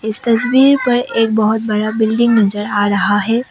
इस तस्वीर पर एक बहुत बड़ा बिल्डिंग नज़र आ रहा है।